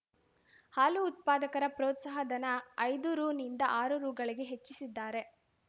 ಹಾಲು ಉತ್ಪಾದಕರ ಪ್ರೋತ್ಸಾಹ ಧನ ಐದು ರೂನಿಂದ ಆರು ರೂಗಳಿಗೆ ಹೆಚ್ಚಿಸಿದ್ದಾರೆ